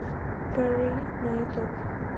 пэри на ютуб